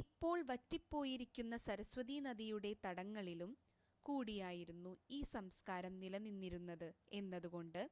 ഇപ്പോൾ വറ്റിപ്പോയിരിക്കുന്ന സരസ്വതീനദിയുടെ തടങ്ങളിലും കൂടിയായിരുന്നു ഈ സംസകാരം നിലനിന്നിരുന്നത് എന്നതുകൊണ്ട്